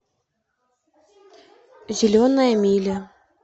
зеленая миля